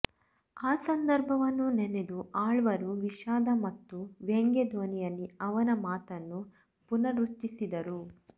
ಆ ಸಂದರ್ಭವನ್ನು ನೆನೆದು ಆಳ್ವರು ವಿಷಾದ ಮತ್ತು ವ್ಯಂಗ್ಯ ಧ್ವನಿಯಲ್ಲಿ ಅವನ ಮಾತನ್ನು ಪುನರುಚ್ಚಿಸಿದರು